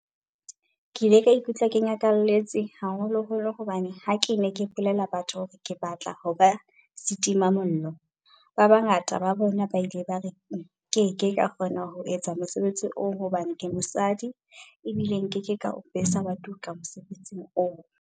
"Ke ile ka ikutlwa ke nyakalletse, haholoholo hobane ha ke ne ke bolella batho hore ke batla ho ba setimamollo, ba bangata ba bona ba ile ba re nke ke ka kgona ho etsa mosebetsi oo hobane ke mosadi ebile nke ke ka o besa wa tuka mosebetsing oo."